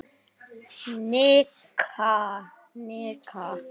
Nikki, Nikki!